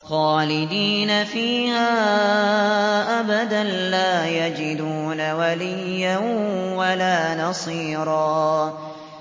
خَالِدِينَ فِيهَا أَبَدًا ۖ لَّا يَجِدُونَ وَلِيًّا وَلَا نَصِيرًا